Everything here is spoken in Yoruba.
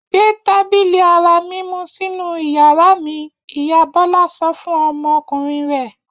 Gbé tábìlì ara mímú sínú ìyàrá mi! Ìyá Bọ́lá sọ fún ọmọkùnrin rẹ̀.